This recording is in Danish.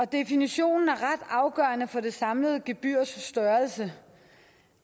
definitionen er ret afgørende for det samlede gebyrs størrelse